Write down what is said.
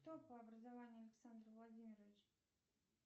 кто по образованию александр владимирович